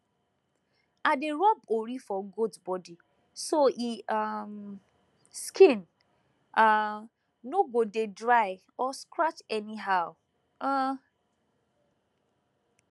i dey rub ori for goat body so e um skin um no go dey dry or scratch anyhow um